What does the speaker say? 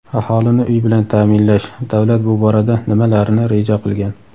Aholini uy bilan ta’minlash: davlat bu borada nimalarni reja qilgan?.